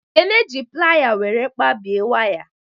Ekene ji playa were kpabie waya